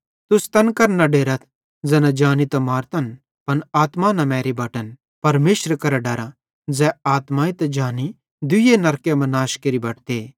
तुस तैन करां न डेरथ ज़ैना जानी त मारतन पन आत्मा न मैरी बटन परमेशरे करां डरा ज़ै आत्माई ते जानी दुइने नरके मां नाश केरि बटते